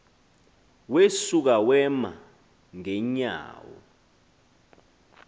wesuka wema ngeenyawo